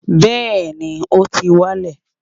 bẹẹni, o ti wa n lẹ